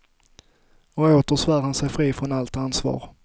Och åter svär han sig fri från allt ansvar.